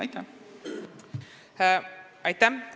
Aitäh!